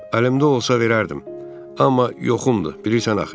Əlimdə olsa verərdim, amma yoxumdur, bilirsən axı.